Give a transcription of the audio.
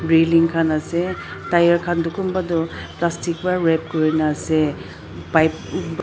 reading khan ase tyre khan tu kunba tu plastic para rab kori na ase pipe--